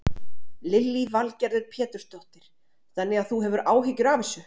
Lillý Valgerður Pétursdóttir: Þannig að þú hefur áhyggjur af þessu?